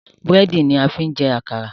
Búrẹ́dì ni a fi ń jẹ́ àkàrà